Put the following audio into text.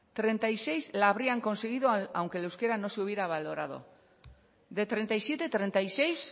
treinta y seis la habrían conseguido aunque el euskera no se hubiera valorado de treinta y siete treinta y seis